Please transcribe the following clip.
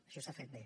això s’ha fet bé